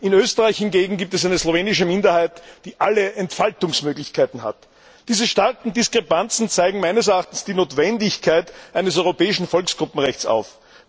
In Österreich hingegen gibt es eine slowenische Minderheit, die alle Entfaltungsmöglichkeiten hat. Diese starken Diskrepanzen zeigen meines Erachtens die Notwendigkeit eines europäischen Volksgruppenrechts auf.